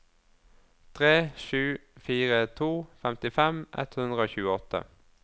tre sju fire to femtifem ett hundre og tjueåtte